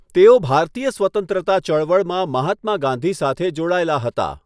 તેઓ ભારતીય સ્વતંત્રતા ચળવળમાં મહાત્મા ગાંધી સાથે જોડાયેલા હતા.